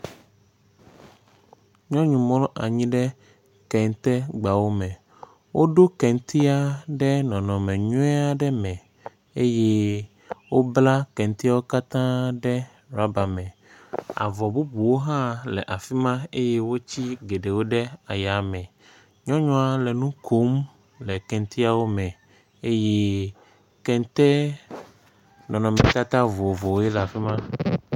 nyɔnu mlɔ anyi ɖɛ kɛntɛ gbawo mɛ woɖó kɛntɛa ɖɛ nɔnɔme nyui aɖe me eye wobla kɛntɛawo ɖɛ rɔba mɛ avɔ bubuwo hã le afima eye woti gɛɖɛwo ɖɛ ayamɛ nyɔnyua lɛ ŋukom lɛ kɛntɛawo mɛ eye kɛnte nɔnɔme tata vovovowoe la fima